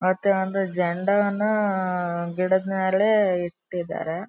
ಮತ್ತೆ ಒಂದು ಜಂಡವನ್ನು ಗಿಡದ್ ಮೇಲೆ ಇಟ್ಟಿದ್ದಾರೆ.